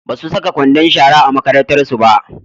Basu saka kwandon shara a makarantarsu ba.